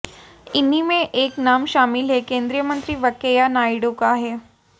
इन्हीं में एक नाम शामिल है केंद्रीय मंत्री वेंकैया नायडू का है